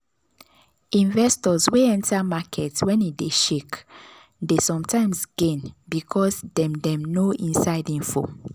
investors wey enter market when e dey shake dey sometimes gain because dem dem know inside info.